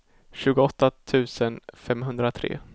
tjugoåtta tusen femhundratre